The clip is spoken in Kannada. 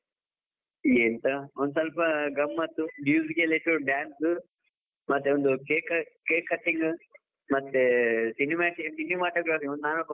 ಎಂತ ಒಂದು ಸ್ವಲ್ಪ ಗಮ್ಮತ್ ಎಲ್ಲ ಇತ್ತು dance, ಮತ್ತೆ ಒಂದು cake, cake cutting ಮತ್ತೆ cinimat~ cinematography .